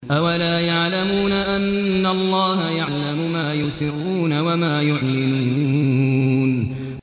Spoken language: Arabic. أَوَلَا يَعْلَمُونَ أَنَّ اللَّهَ يَعْلَمُ مَا يُسِرُّونَ وَمَا يُعْلِنُونَ